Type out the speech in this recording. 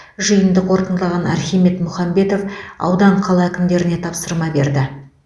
жиынды қорытындылаған архимед мұхамбетов аудан қала әкімдеріне тапсырма берді